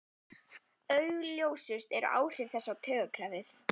Augljósust eru áhrif þess á taugakerfið.